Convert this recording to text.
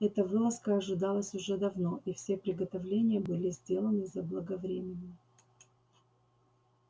эта вылазка ожидалась уже давно и все приготовления были сделаны заблаговременно